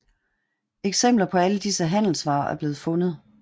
Eksempler på alle disse handelsvarer er blevet fundet